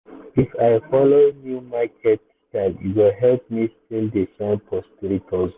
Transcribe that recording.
if i follow new market style e go help me still dey shine for street hustle.